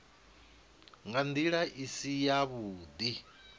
nga ndila i si yavhudi